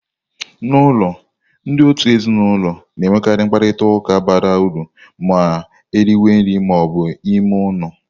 N'ụlọ, ndị òtù ezinụlọ na-enwekarị mkparịta ụka bara uru ma eriwe nri ma ọ bụ n'ime ụlọ.